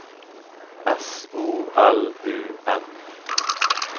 S O L U M